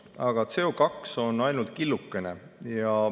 Aga CO2 on ainult killukene.